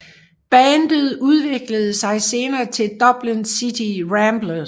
Bandet udviklede sig senere til Dublin City Ramblers